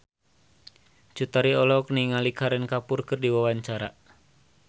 Cut Tari olohok ningali Kareena Kapoor keur diwawancara